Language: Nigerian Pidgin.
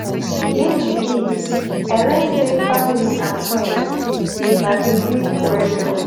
Yesterday, I learn sey family and friends na di real treasure.